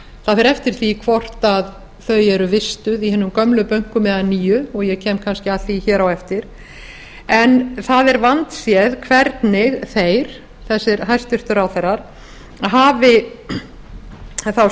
það fer eftir því hvort þau eru vistuð í hinum gömlu bönkum eða nýju og ég kem kannski að því hér á eftir en það er vandséð hvernig þeir þessir hæstvirtir ráðherrar hafi þá